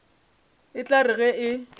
e tla re ge e